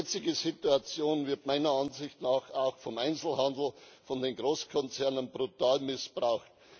Die jetzige Situation wird meiner Ansicht nach auch vom Einzelhandel, von den Großkonzernen brutal missbraucht.